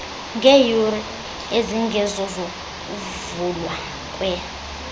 ngeeyure ezingezozokuvulwa kwe